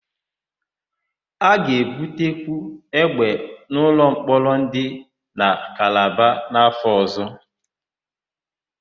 A ga-ebutekwu égbè n'ụlọmkpọrọ dị na Kalaba n̄'áfọ̀ ọ̀zọ́.